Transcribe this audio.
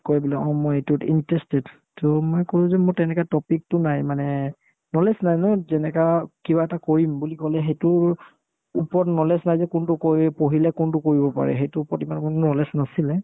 কই বোলে অ মই এইটোত interested to মই ক'লো যে মোৰ তেনেকুৱা topic তো নাই মানে knowledge নাই ন যেনেকা কিবা এটা কৰিম বুলি ক'লে সেইটোৰ ওপৰত knowledge নাই যে কোনটো কৰি পঢ়িলে কোনটো কৰিব পাৰি সেইটোৰ ওপৰত ইমান মোৰ knowledge নাছিলে